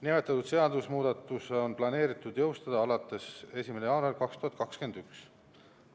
Nimetatud seadusemuudatus on planeeritud jõustada alates 1. jaanuarist 2021.